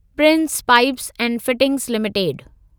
Prince pipes ऐं fittings limited